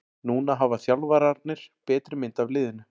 Núna hafa þjálfararnir betri mynd af liðinu.